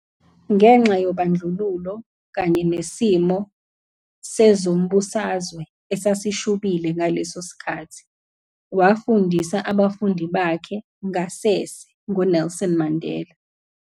Ngenxa yobandlululo kanye nesimo sezombusazwe esasishubile ngaleso sikhathi, wafundisa abafundi bakhe ngasese ngoNelson Mandela.